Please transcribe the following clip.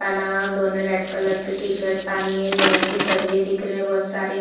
पहना और दोनों रेड कलर की टी-शर्ट पहनी है लोहे के शरीर दिख रहे है बोहत सारे।